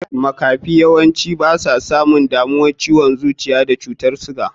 Makafi basu yawancin samun damuwan ciwon zuciya da cutar suga.